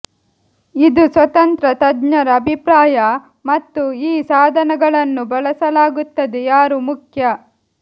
ಇದು ಸ್ವತಂತ್ರ ತಜ್ಞರ ಅಭಿಪ್ರಾಯ ಮತ್ತು ಈ ಸಾಧನಗಳನ್ನು ಬಳಸಲಾಗುತ್ತದೆ ಯಾರು ಮುಖ್ಯ